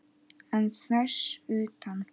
En þess utan?